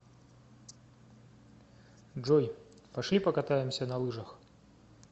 джой пошли покатаемся на лыжах